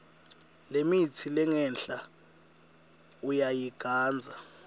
lemitsi lengenhla uyayigandza